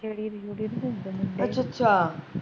ਅੱਛਾ ਅੱਛਾ